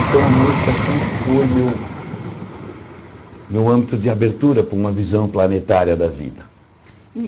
Então, a música sempre foi meu meu âmbito de abertura para uma visão planetária da vida.